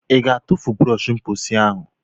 Ị ga-atụfu brọsh mposi ahụ?